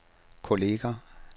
kolleger